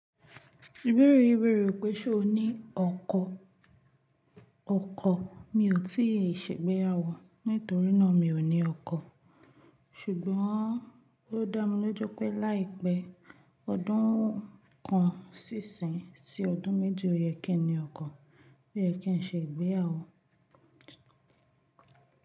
Wèrè wèrè ò pé ṣo ní ọkọ. Ọkọ mi ò tí ì ṣe ìgbéyàwó nítorí náà mi ò ní ọkọ. Ṣùgbọ́n ó dá mi lójú pé láì pẹ́ ọdún kan sí ìsín, tí ọdún méjì, ọyẹ́ kí n ní ọkọ. Oukẹ kín ṣe ìgbéyàwó.